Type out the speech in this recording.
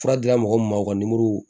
Fura dira mɔgɔ min ma o ka